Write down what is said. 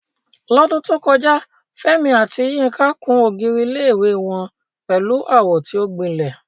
Lọ́dún tó kọjá, Fẹ́mi àti Yinka kùn ògiri ilé-ìwé wọn pẹ̀lú àwọ̀ tí ó gbilẹ̀.